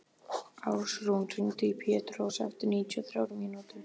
Ásrún, hringdu í Pétrós eftir níutíu og þrjár mínútur.